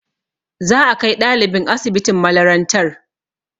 Za a kai ɗalibin asibitin malarantar